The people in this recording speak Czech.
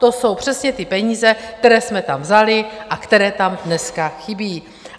To jsou přesně ty peníze, které jste tam vzali a které tam dneska chybí.